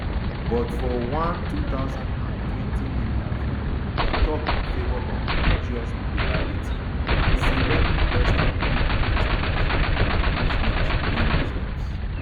but for one two thousand and twenty interview e tok in favour of religious plurality and say let protestants be protestants um and muslims um be muslims